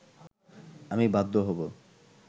আমি বাধ্য হব